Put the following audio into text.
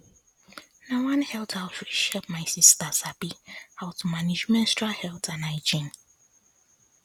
na one health outreach help my sister sabi how to manage menstrual health and hygiene